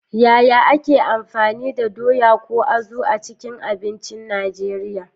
Yaya ake amfani da doya, ko azu, a cikin abincin Najeriya?